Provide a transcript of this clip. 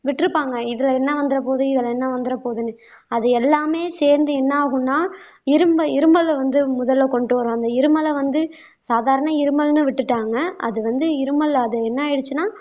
விட்டிருப்பாங்க இதுல என்ன வந்துறபோது இதுல என்ன வந்துறபோதுன்னு அது எல்லாமே சேர்ந்து என்ன ஆகும்னா இரும்ப இரும்பல வந்து முதல்ல கொண்டு வரும் அந்த இருமலை வந்து சாதாரண இருமல்ன்னு விட்டுட்டாங்க அது வந்து இருமல் அது என்ன ஆயிடுச்சுன்னா